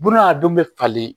Buna a dun be falen